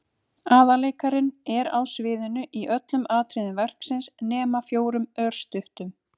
Aðalleikarinn er á sviðinu í öllum atriðum verksins nema fjórum örstuttum.